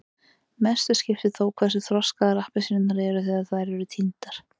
mestu skiptir þó hversu þroskaðar appelsínurnar eru þegar þær eru tíndar